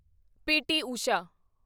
PT. Usha